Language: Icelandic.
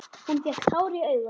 Hún fékk tár í augun.